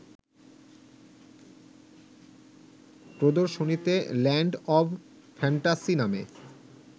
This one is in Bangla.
প্রদর্শনীতে ল্যান্ড অব ফ্যান্টাসি নামে